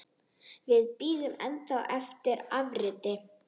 Við bíðum enn eftir afriti.